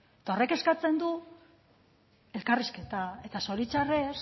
eta horrek eskatzen du elkarrizketa eta zoritxarrez